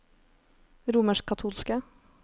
romerskkatolske